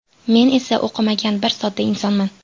Men esa o‘qimagan, bir sodda insonman.